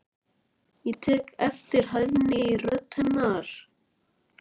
Ég tek eftir hæðni í rödd hennar.